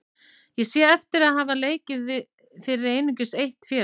Sé ég heftir því að hafa leikið fyrir einungis eitt félag?